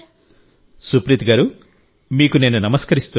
సుప్రీత్ గారూ మీకు నేనునమస్కరిస్తున్నాను